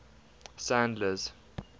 sandler's